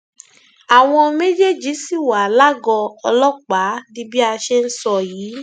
àwọn méjèèjì ṣì wà lágọọ ọlọpàá di bí a ṣe ń sọ yìí